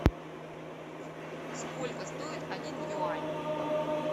сколько стоит один юань